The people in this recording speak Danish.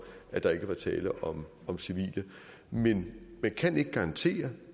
at der ikke var tale om om civile men man kan ikke garantere